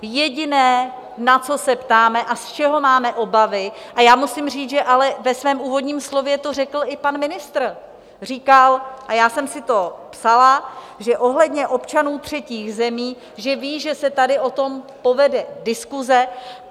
Jediné, na co se ptáme a z čeho máme obavy, a já musím říct, že ale ve svém úvodním slově to řekl i pan ministr, říkal, a já jsem si to psala, že ohledně občanů třetích zemí, že ví, že se tady o tom povede diskuse.